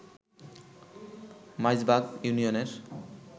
মাইজবাগ ইউনিয়নের